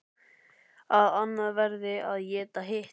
Að annað verði að éta hitt.